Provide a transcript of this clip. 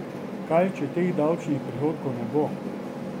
Kaj če teh davčnih prihodkov ne bo?